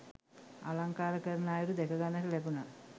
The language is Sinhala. අලංකාර කරන අයුරු දැක ගන්නට ලැබුණා.